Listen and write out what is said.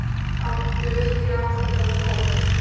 Áttu virkilega allan þennan hóp?